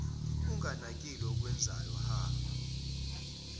unganakile okwenzayo hha